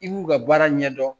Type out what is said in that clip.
I b'u ka baara ɲɛdɔn